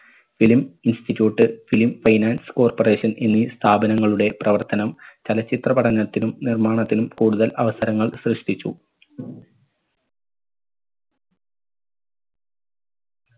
film institute film finance corperation എന്നീ സ്ഥാപനങ്ങളുടെ പ്രവർത്തനം ചലച്ചിത്ര പഠനത്തിനും നിർമാണത്തിനും കൂടുതൽ അവസരങ്ങൾ സൃഷ്ടിച്ചു.